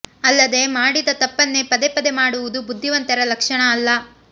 ಅಲ್ಲದೆ ಮಾಡಿದ ತಪ್ಪನ್ನೇ ಪದೇ ಪದೇ ಮಾಡುವುದು ಬುದ್ಧಿವಂತರ ಲಕ್ಷಣ ಅಲ್ಲ